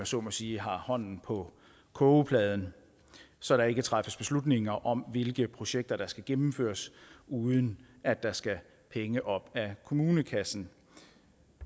så må sige har hånden på kogepladen så der ikke træffes beslutninger om hvilke projekter der skal gennemføres uden at der skal penge op af kommunekassen